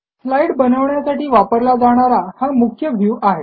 slide बनवण्यासाठी वापरला जाणारा हा मुख्य व्ह्यू आहे